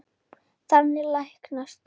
Þannig læknast